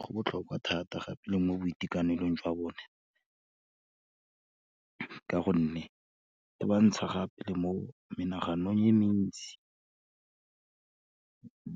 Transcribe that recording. Go botlhokwa thata gape le mo boitekanelong jwa bone, ka gonne e bontsha gape le mo menaganong e mentsi,